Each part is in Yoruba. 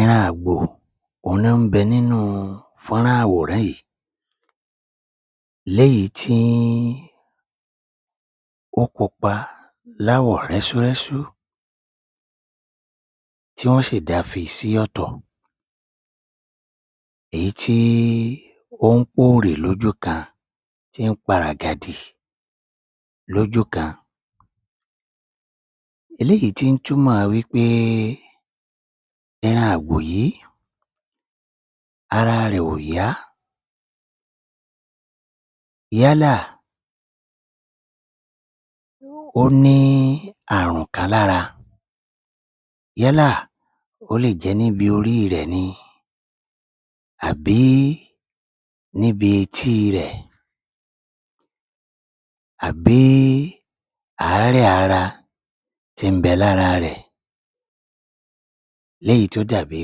Ẹran àgbò, òhun ló ń bẹ nínú fọ́nrán àwòrán yìí. Léyìí tí ń, ó pupa láwọ̀ rẹ́súrẹ́sú tí wọ́n sì dá fi sí ọ̀tọ̀. Èyí tí ó ń póòrì lójú kan, tí ń pa ràgàdì lójú kan. Eléyìí tí ń ń túmọ̀ wí pé ẹran àgbò yìí ara rẹ̀ ò yá, yálà ó ní àrùn kan lára. Yálà ó lè jẹ́ níbi orí rẹ̀ ni àbí níbi etí rẹ̀, àbí àárẹ̀ ara tí ń bẹ lára rẹ̀ léyìí tó dàbí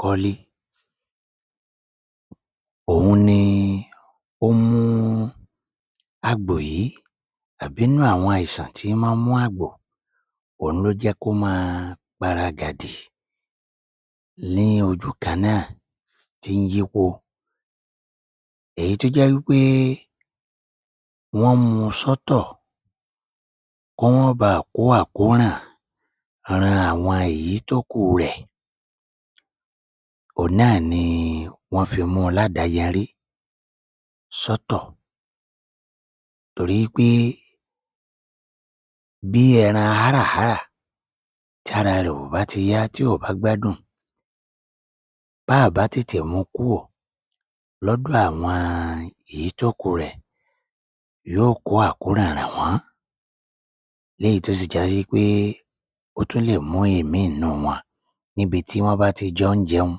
kọ́ọ́lí. Òhun ni ó mú àgbò yìí, àbí inú àwọn àìsàn tí mọ́ ń mú àgbò òhun ló jẹ́ kó máa paragàdì ní ojú kan náà, tí ń yípo. Èyí tó jẹ́ wí pé wọ́n mú un sọ́tọ̀ kó mọ́ baà kó àkóràn ran àwọn èyí tó kù rẹ̀ òhun náà ni wọ́n fi mú un ládàáyarí sọ́tọ̀ torí wí pé bí ẹran háràhárà tí ara rẹ̀ ò bá ti yá tí ò bá gbádùn, báà bá tètè mú un kúò lọ́dọ̀ àwọn ìyí tó kù rẹ̀, yóò kó àkóràn ràn wọ́n. Léyìí tó sì jásí wí pé ó tún lè mú ìmíì inú wọn níbi tí wọ́n bá ti jọ ń jẹun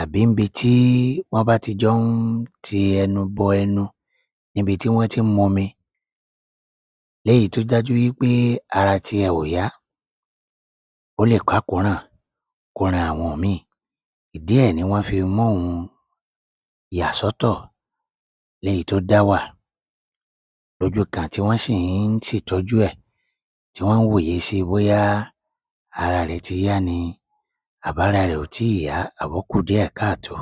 àbí ńbi tí wọ́n bá ti jọ ń ti ẹnu bọ ẹnu níbi tí wọ́n tí ń mu omi léyìí tó dájú pé ara ti ẹ̀ ò yá, ó lè kákòóràn kó ran àwọn òmíì. Ìdí ẹ̀ ni wọ́n fi móhun yà sọ́tọ̀ léyìí tó dá wà lójú kan tí wọ́n sì ń ṣètọ́jú ẹ̀ tí wọ́n ń wòye síi bóyá ara rẹ̀ ti yá ni àbára rẹ̀ ò tíì yá, àbókù díẹ̀ káàtó.